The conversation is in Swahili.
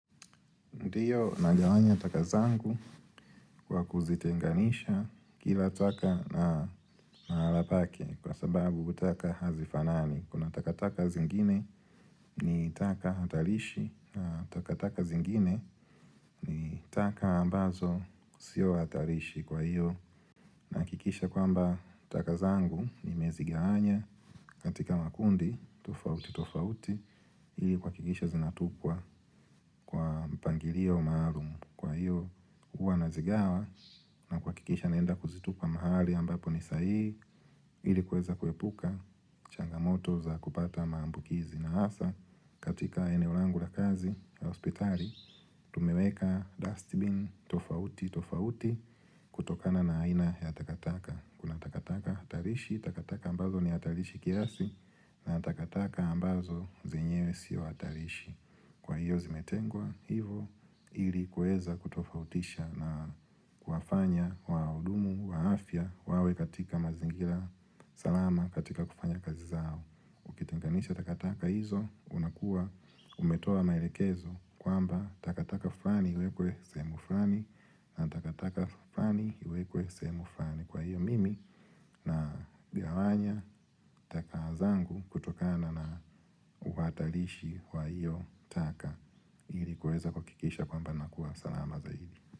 Ndiyo nagawanya taka zangu kwa kuzitenganisha, kila taka na mahala pake kwa sababu taka hazifanani. Kuna takataka zingine ni taka hatarishi na takataka zingine ni taka ambazo sio hatarishi kwa hiyo Nahakikisha kwamba taka zangu nimezigawanya katika makundi tofauti tofauti. Hii huhakikisha zinatupwa kwa mpangilio maalum. Kwa hiyo huwa nazigawa kuhakikisha naenda kuzitupa mahali ambapo nisahihi ili kuweza kuepuka changamoto za kupata maambukizi na hasa katika eneo langu la kazi ya hospitali Tumeweka dustbin tofauti tofauti kutokana na aina ya takataka. Kuna takataka hatarishi, takataka ambazo ni hatarishi kiasi, na takataka ambazo zenyewe sio hatarishi. Kwa hiyo zimetengwa hivyo ili kuweza kutofautisha na kuwafanya wahudumu wa afya wawe katika mazingira salama katika kufanya kazi zao. Ukitenganisha takataka hizo unakuwa umetoa maelekezo kwamba takataka fulani iwekwe sehemu fulani na takataka fulani iwekwe sehemu fulani. Kwa hiyo, mimi nagawanya taka zangu kutokana na uhatarishi wa hiyo taka ili kuweza kuhakikisha kwamba nakuwa salama zaidi.